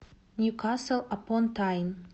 ньюкасл апон тайн